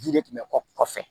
Yiri tun bɛ kɔ kɔfɛ